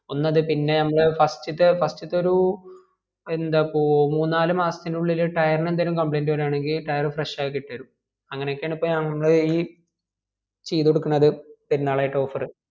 ഒന്ന് അത് പിന്നെ നമ്മളെ first ത്തെ first ത്തെ ഒരു എന്താപ്പോ മൂന്നുനാല് മാസത്തിന് ഉള്ളിൽ tier ന് എന്തേലും complaint വേരുവാണെങ്കിൽ tier fresh ആക്കി ഇട്ട് തെരും അങ്ങനെ ഒക്കെ ആണ് ഇപ്പോ ഞങ്ങള് ഈ ചെയ്ത് കൊടുക്കണത് പെരുന്നാളായിട്ട് offer